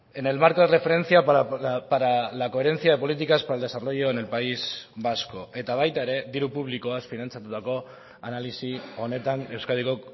en el marco de referencia para la coherencia de políticas para el desarrollo en el país vasco eta baita ere diru publikoaz finantzatutako analisi honetan euskadiko